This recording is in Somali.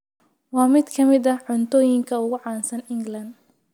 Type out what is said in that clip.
Waa mid ka mid ah cuntooyinka ugu caansan England.